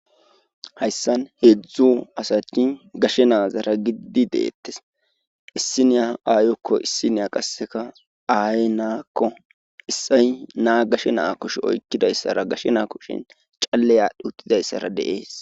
Hayssan heedzdzu asati gashe naazara gididi deettes issi niya aayokko issi niya qasseka aay naakko issay naa gashe naa kosh oykkidayssara gashe naakoshin calle aadh huttidayssara de7es.